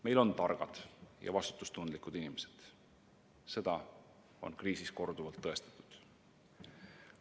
Meil on targad ja vastutustundlikud inimesed – seda on kriisis korduvalt tõestatud.